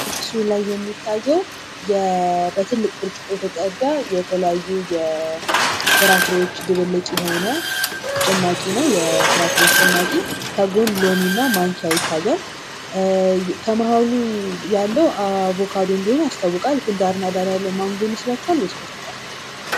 ምስሉ ላይ የሚታየው የተለያዩ ፍራፍሬዎች ድብልቅ የሆነ ጭማቂ ነው። የፍራፍሬዎች ጭማቂ ጎን ሎሚ እና ማንኪያ ይታያል። ከማሃሉ ያለው አቮካዶ እንደሆነ ያስታውቃል። ዳርና ዳር ያለው ማንጎ ይመስላችኋል ወይስ ብርቱካን?